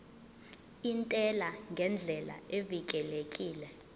intela ngendlela evikelekile